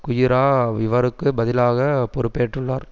குயிரா இவருக்கு பதிலாக பொறுப்பேற்றுள்ளார்